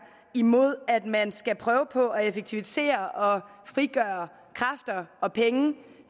imod at man skal prøve på at effektivisere og frigøre kræfter og penge